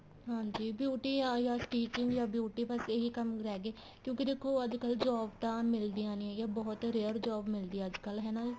ਹਾਂਜੀ beauty ਜਾ ਫ਼ਿਰ stinging ਜਾਂ beauty ਬੱਸ ਇਹੀ ਕੰਮ ਰਹੇ ਗਏ ਕਿਉਂਕਿ ਦੇਖੋ ਅੱਜਕਲ job ਤਾਂ ਮਿਲਦੀਆਂ ਨਹੀਂ ਹੈਗੀਆਂ ਬਹੁਤ rare job ਮਿਲਦੀ ਆ ਅੱਜਕਲ ਹਨਾ ਦੀਦੀ